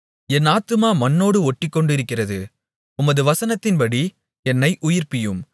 என் ஆத்துமா மண்ணோடு ஒட்டிக்கொண்டிருக்கிறது உமது வசனத்தின்படி என்னை உயிர்ப்பியும்